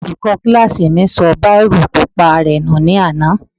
Olùkọ́ kílásì mi sọ bírò pupa rẹ̀ nù ní àná